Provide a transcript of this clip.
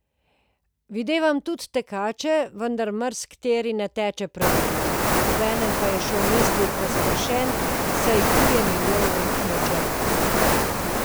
Videvam tudi tekače, vendar marsikateri ne teče pravilno, obenem pa je še v mislih razpršen, saj kuje milijon načrtov.